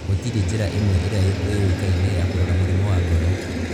gũtirĩ njĩra ĩmwe ĩrĩa ĩũĩkaine ya kũrora mũrimũ wa ngoro.